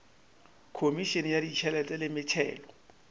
khomišene ya ditšhelete le metšhelo